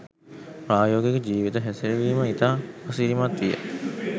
ප්‍රායෝගික ජීවිත හැසිරවීම ඉතා අසිරිමත් විය